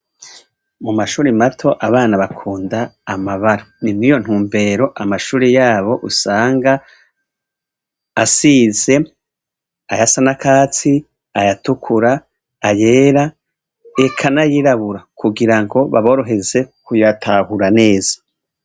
Mumashuri mato, abana bakunda amabara. Ni mw'iyo ntumbero amashuri yabo usanga asize, ayasa n'akatsi, ayatukura, ayera, eka n'ayirabura, kugira ngo baboroheze kuyatahura neza.